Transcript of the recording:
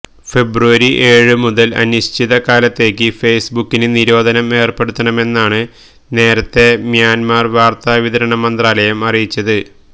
ഫെബ്രുവരി ഏഴുമുതല് അനിശ്ചിതകാലത്തേക്ക് ഫേസ്ബുക്കിന് നിരോധനം ഏര്പ്പെടുത്തുമെന്നാണ് നേരത്തേ മ്യാന്മര് വാര്ത്താവിതരണ മന്ത്രാലയം അറിയിച്ചത്